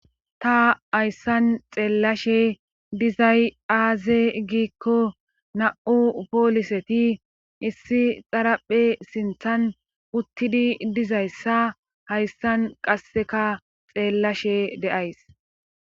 ta hayssan xeellashe dizay aaze giikko na7u pooliseti issi xaraphe sinthan uttidi dizayssa hayssan qasseka xeellashe deays